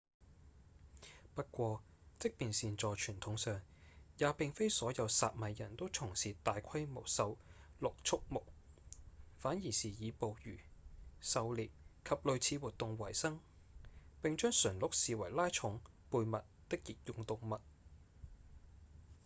不過即便是在傳統上也並非所有薩米人都從事大規模馴鹿畜牧反而是以捕魚、狩獵及類似活動為生並將馴鹿視為拉重、背物的役用動物